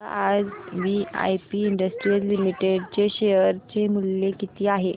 सांगा आज VIP Industries Limited चे शेअर चे मूल्य किती आहे